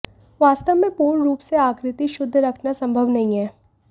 वास्तव में पूर्ण रूप से आकृति शुद्ध रखना संभव नहीं है